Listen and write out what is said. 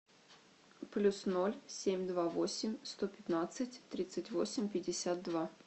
плюс ноль семь два восемь сто пятнадцать тридцать восемь пятьдесят два